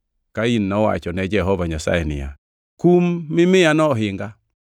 Kain nowacho ne Jehova Nyasaye niya, “Kum mi miyano ohinga.